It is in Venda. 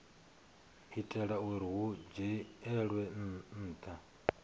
itela uri hu dzhielwe nha